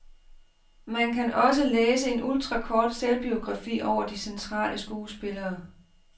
Man kan også læse en ultrakort selvbiografi over de centrale skuespillere.